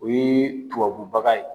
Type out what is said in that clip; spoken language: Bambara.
O ye tubabu baga ye.